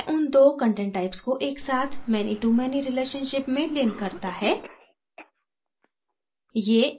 अब यह उन दो content types को एक साथ many to many relationship में links करता है